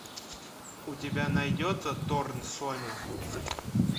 у тебя найдется торн соня